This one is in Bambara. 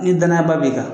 Ni danaya ba b'i kan